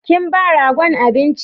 Kin ba ragon abinci?